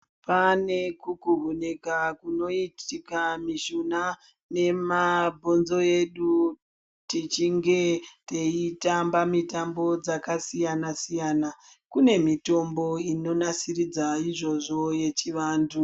Pane kukuhunika kunoitika mishuna nemabhonzo edu tichinge teitamba mitambo dzakasiyana siyana , kune mitombo inonasiridza izvozvo yechivantu.